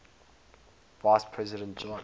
vice president john